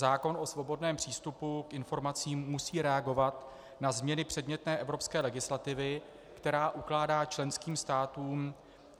Zákon o svobodném přístupu k informacím musí reagovat na změny předmětné evropské legislativy, která ukládá členským státům